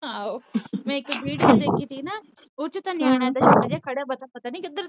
ਆਹੋ ਮੈ ਇਕ ਵੀਡੀਓ ਦੇਖੀ ਸੀ ਨਾ ਓਦੇ ਚ ਤਾ ਨਿਆਣਾ ਜਾ ਛੋਟਾ ਜਾ ਖੜ੍ਹਾ